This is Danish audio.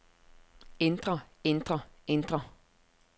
ændre ændre ændre